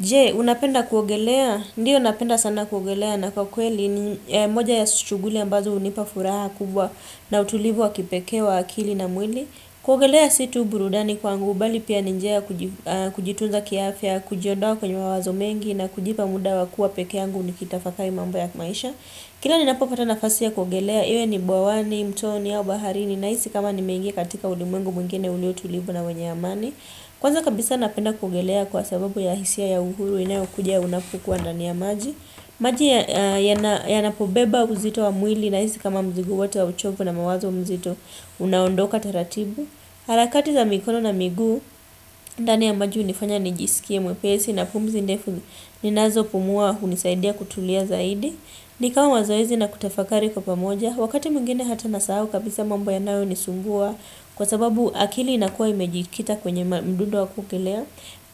Jee, unapenda kuogelea? Ndiyo unapenda sana kuogelea na kwa kweli ni moja ya suchuguli ambazo unipa furaha kubwa na utulivu wa kipeke wa akili na mwili. Kuogelea situ burudani kwa angu, bali pia ninjea kujitunza kiafia, kujiodawa kwenye wawazo mengi na kujipa muda wa kuwa peke angu ni kitafakai mamba ya maisha. Kila ninapofata nafasi ya kuogelea, iwe ni buawani, mtoni, yaubaharini, naisi kama ni mengi katika ulimengu mwingine uliotulivu na wenye amani. Kwanza kabisa napenda kuogelea kwa sababu ya hisia ya uhuru ina ya ukuja unapukuwa nani ya maji. Maji ya napobeba uzito wa mwili na hizi kama mzigu watu wa uchobu na mawazo mzito unaondoka taratibu. Halakati za mikono na migu, nani ya maji unifanya nijisikie mwepesi na pumzi ndefu ninazo pumua unisaidia kutulia zaidi. Nikawa wazoizi na kutafakari kwa pamoja. Wakati mingine hata na saao kabisa mambu ya nao nisungua kwa sababu akili inakua imejikita kwenye mdundo wa kugelea.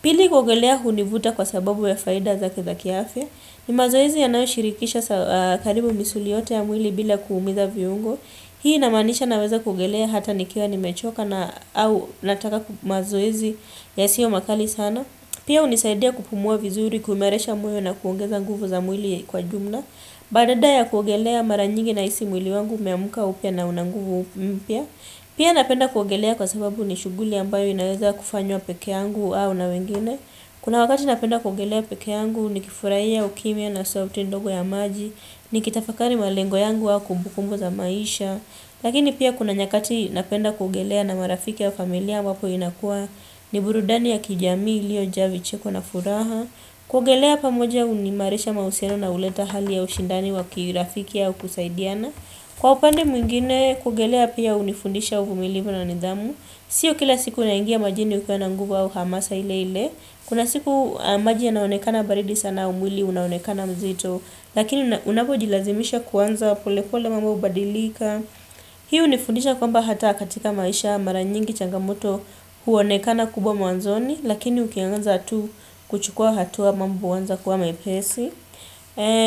Pili kugelea hunivuta kwa sababu ya faida za keza kiafe. Ni mazoezi ya nao shirikisha karibu misuli yote ya mwili bila kuumiza viungo. Hii inamanisha naweza kugelea hata nikiawa nimechoka na au nataka kumazoezi ya sio makali sana. Pia unisaidia kupumua vizuri, kumeresha mwili na kuongeza nguvu za mwili kwa jumna. Badada ya kuogelea maranyingi na isi mwili wangu meamuka upia na unanguvu upia Pia napenda kuogelea kwa sababu ni shuguli ambayo inaweza kufanywa peke yangu au na wengine Kuna wakati napenda kuogelea peke yangu ni kifurahia ukimia na sauti ndogo ya maji ni kitafakari malengo yangu wa kumbukumbo za maisha Lakini pia kuna nyakati napenda kuogelea na marafiki ya familia wapo inakua ni burudani ya kijami ilio javi cheko na furaha Kugelea pamoja unimareisha mauseno na uleta hali ya ushindani wakirafiki ya ukusaidiana Kwa upande mwingine kugelea pia unifundisha uvumilivu na nidhamu Sio kila siku na ingia majini ukwana nguvu au hamasa ile ile Kuna siku majia naonekana baridi sana umwili, unaonekana mzito Lakini unapo jilazimisha kuwanza pole pole mambo badilika Hiu unifundisha kwamba hata katika maisha maranyingi changamoto huonekana kubwa muanzoni Lakini ukianganza tu kuchukua hatu wa mambu wanza kuwa mepesi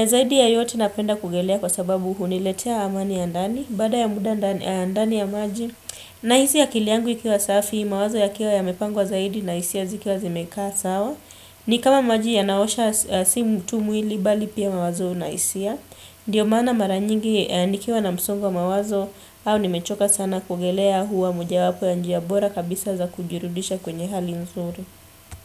Zaidi ya yote napenda kugelea kwa sababu huniletea amani ya ndani Bada ya muda ndani ya maji na hizi ya kiliangu ikiwa safi mawazo ya kiwa ya mepangwa zaidi na isi ya zikiwa zimekaa sawa ni kama maji ya naosha si mtu muili bali pia mawazo na isi ya Ndiyo mana maranyingi ni kiwa na msungwa mawazo au ni mechoka sana kugelea huwa muja wapo ya njiya bora kabisa za kujirudisha kwenye hali mzuru.